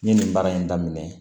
N ye nin baara in daminɛ